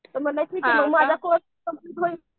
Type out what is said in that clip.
तर म्हणलं